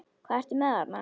Hvað ertu með þarna?